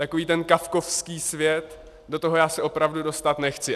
Takový ten kafkovský svět, do toho já se opravdu dostat nechci.